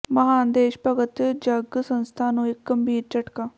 ਮਹਾਨ ਦੇਸ਼ ਭਗਤ ਜੰਗ ਸੰਸਥਾ ਨੂੰ ਇੱਕ ਗੰਭੀਰ ਝਟਕਾ